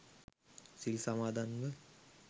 සිල් සමාදන්ව